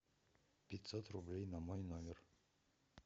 пятьсот рублей на мой номер